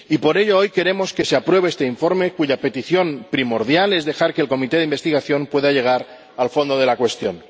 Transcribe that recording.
Y por ello, hoy queremos que se apruebe este informe, cuya petición primordial es dejar que la comisión de investigación pueda llegar al fondo de la cuestión.